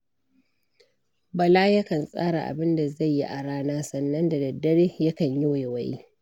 Bala yakan tsara abin da zai yi a rana, sannan da daddare yakan yi waiwaye.